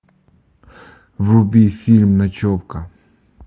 вруби фильм ночевка